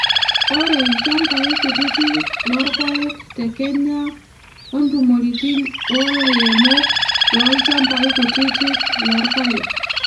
ore ilchampai kutitik loorpaek te kenya, ontumoritin oolairemok loolchampai kutitik loorpaek.